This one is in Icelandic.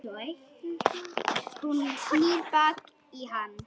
Hún snýr baki í hann.